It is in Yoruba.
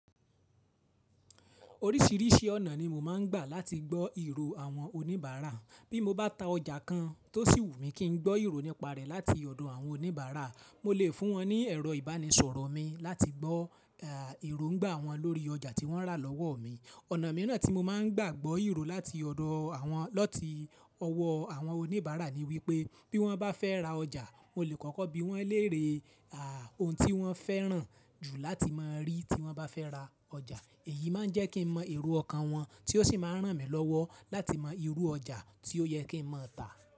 Oríṣìíríṣìí ọ̀nà ni mo máa ń gbà láti gbọ́ ìró àwọn oníbàárà. Bí mo bá ta ọjà kan tó sì wù mí kí n gbọ́ ìró nípa rẹ̀ láti ọ̀dọ̀ àwọn oníbàárà, mo lè fún wọn ní ẹ̀rọ ìbánisọ̀rọ̀ mi láti gbọ́ eróńgbà wọ́n lórí ọjà tí wọ́n rà lọ́wọ́ mi. Ọ̀ nà mìíràn tí mo máa ń gbà gbọ́ ìró láti ọ̀dọ̀ àwọn latí ọwọ́ àwọn oníbàárà ni wípé bí wọ́n bá fẹ́ ra ọjà, mo lè kọ́kọ́ bí wọ́n léere ohun tí wọ́n fẹ́ràn jù láti máa rí tí wọ́n bá fẹ́ ra ọjà. Èyí máa ń jẹ́ kí n mọ ero ọkàn wọn tí ó sì máa ń ràn mí lọ́wọ́ láti mọ ìrú ọjà tí ó yẹ kí n má a tà.